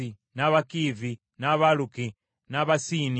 n’Abakiivi, n’Abaluki, n’Abasiini;